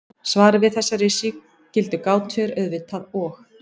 Svarið við þessari sígildu gátu er auðvitað og.